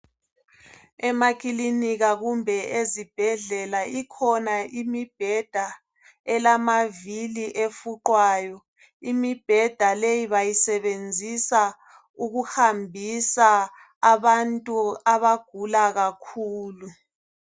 Emakilinika kumbe ezibhedlela ikhona imibheda elamavili efuqwayo. Imibheda leyi bayisebenzisa ukuhambisa abantu abagula kakhulu.